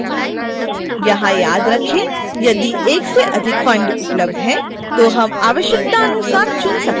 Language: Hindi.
यहां याद रखें यदि एक से अधिक फंड उपलब्ध हैं तो हम आवश्यकतानुसार चुन सकते हैं